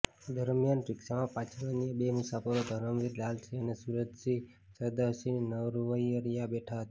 દરમિયાન રિક્ષામાં પાછળ અન્ય બે મુસાફરો ધર્મવીર લાલસિંહ અને સુરજીત સરદારસિંહ નરવરીયા બેઠા હતા